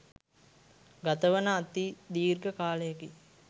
ගතවන අති දීර්ඝ කාලයකි.